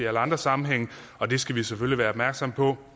andre sammenhænge og det skal vi selvfølgelig være opmærksomme på